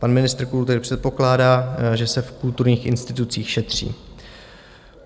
Pan ministr kultury předpokládá, že se v kulturních institucích šetří.